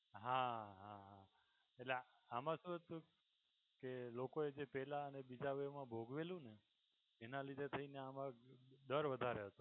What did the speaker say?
હાં હા એટલે આમાં શું હતું કે લોકોએ જે પહેલા અને બીજા wave માં ભોગવેલુંને એના લીધે થઇ ને આમાં ડર વધારે હતો.